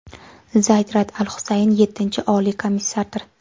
Zayd Raad al-Husayn yettinchi Oliy komissardir.